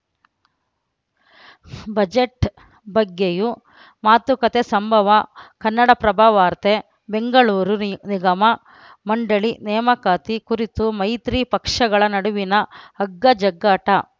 budget ಬಗ್ಗೆಯೂ ಮಾತುಕತೆ ಸಂಭವ ಕನ್ನಡಪ್ರಭ ವಾರ್ತೆ ಬೆಂಗಳೂರು ನಿ ನಿಗಮ ಮಂಡಳಿ ನೇಮಕಾತಿ ಕುರಿತು ಮೈತ್ರಿ ಪಕ್ಷಗಳ ನಡುವಿನ ಹಗ್ಗಜಗ್ಗಾಟ